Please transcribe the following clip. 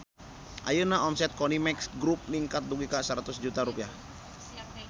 Ayeuna omset Konimex Grup ningkat dugi ka 100 juta rupiah